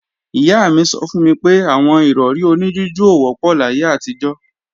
Ìyá mi sọ fún mi pé àwọn Ìrọ̀rí oní jújù ò wọ́pọ̀ láyé àtijọ́